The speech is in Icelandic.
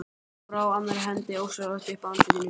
Hún brá annarri hendinni ósjálfrátt upp að andlitinu.